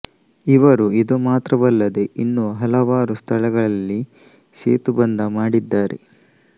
ಇವರು ಇದು ಮಾತ್ರವಲ್ಲದೆ ಇನ್ನೂ ಹಲವಾರು ಸ್ಥಳಗಳಲ್ಲಿ ಸೇತುಬಂಧ ಮಾಡಿದ್ದಾರೆ